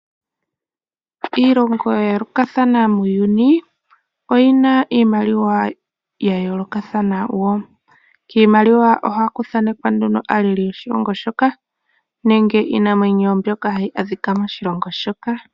Iilongo yayoolokathana muuyuni oyina iimaliwa yayoolokathana wo. Kiimaliwa ohaku thanekwa nduno aaleli yoshilongo shoka nenge iinamwenyo mbyoka hayi adhika moshilongo shoka.